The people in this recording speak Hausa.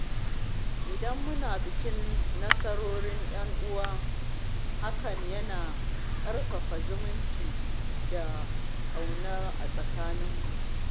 Idan muna bikin nasarorin ‘yan uwa, hakan yana ƙarfafa zumunci da ƙauna a tsakaninmu.